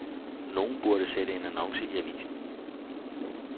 Nogen burde sætte en annonce i avisen.